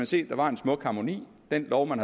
se der var en smuk harmoni den lov man